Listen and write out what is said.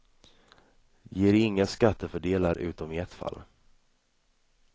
Det ger inga skattefördelar utom i ett fall.